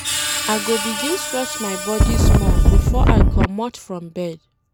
I go begin stretch my body small before I comot from bed.